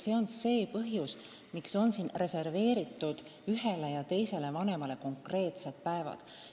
See on põhjus, miks on siin reserveeritud ühele ja teisele vanemale konkreetsed päevad.